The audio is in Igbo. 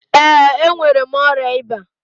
Ee enwere mụ ọrịa ịba.